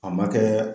A ma kɛɛ